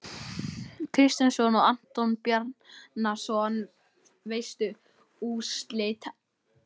Kristjánsson og Anton Bjarnason.Veistu úrslit úr æfingaleikjum?